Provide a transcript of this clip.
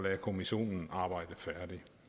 irakkommissionen arbejde færdig